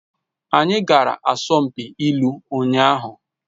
Anyị gara asọmpi ilu ụnyaahụ